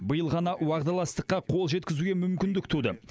биыл ғана уағдаластыққа қол жеткізуге мүмкіндік туды